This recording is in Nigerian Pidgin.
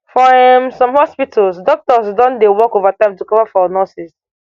for um some hospitals doctors don dey work overtime to cover for nurses